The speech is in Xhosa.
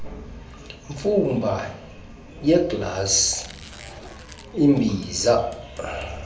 mfumba yeeglasi ibiza